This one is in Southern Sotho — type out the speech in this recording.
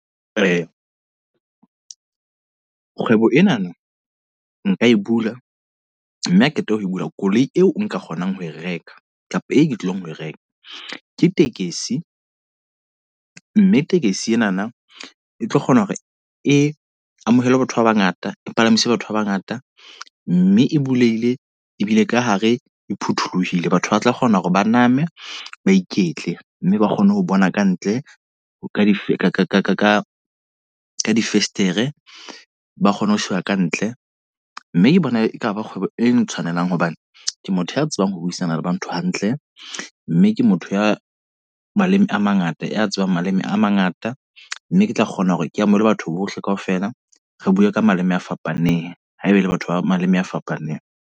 Kgwebo enana, nka e bula. Mme a qeta ho e bula, koloi eo nka kgonang ho e reka. Kapa e ke tlong ho e reka, ke tekesi. Mme tekesi enana e tlo kgona hore e amohele batho ba bangata, e palamise batho ba bangata. Mme e bulehile, ebile ka hare e phuthulohile. Batho ba tla kgona hore ba name ba iketle. Mme ba kgone ho bona kantle ho ka di ka di festere. Ba kgone ho sheba kantle. Mme ke bona e kaba kgwebo e ntshwanelang hobane ke motho ya tsebang ho buisana le ba ntho hantle. Mme ke motho ya maleme a mangata, ya tsebang maleme a mangata. Mme ke tla kgona hore ke amohele batho bohle kaofela, re bue ka maleme a fapaneng haeba e le batho ba maleme a fapaneng.